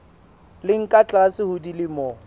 leng ka tlase ho dilemo